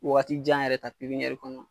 Waati jan yɛrɛ ta pipiniyɛri kɔnɔna na.